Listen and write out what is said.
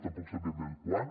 tampoc sabem ben bé quan